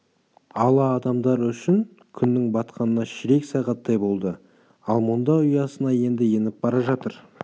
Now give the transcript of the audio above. ала адамдары үшін күннің батқанына ширек сағаттай болды ал мұнда ұясына енді еніп бара жатыр